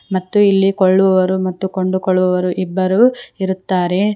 ಮತ್ತು ಇಲ್ಲಿ ಕೊಳ್ಳುವರು ಮತ್ತು ಕೊಂಡುಕೊಳ್ಳುವರು ಇಬ್ಬರು ಇರುತ್ತಾರೆ.